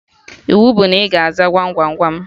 Iwu bụ na ị ga-aza Gwam Gwam Gwam